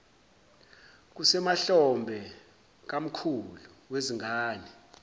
kusemahlombe kamkhulu wezingane